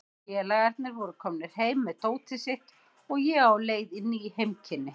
Félagarnir voru komnir heim með dótið sitt og ég á leið í ný heimkynni.